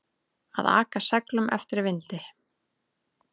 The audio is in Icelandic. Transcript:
Að aka seglum eftir vindi